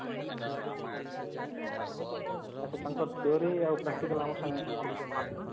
ହଁ ହଁ ଆଛା ତାଙ୍କର theory ଆଉ practical ଆମର ସାଙ୍ଗେ ଆମର ଭଳିଆ mark ନା